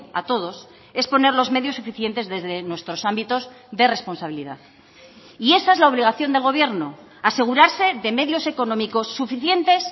a todos es poner los medios suficientes desde nuestros ámbitos de responsabilidad y esa es la obligación del gobierno asegurarse de medios económicos suficientes